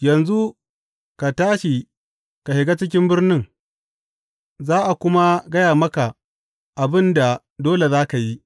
Yanzu ka tashi ka shiga cikin birnin, za a kuma gaya maka abin da dole za ka yi.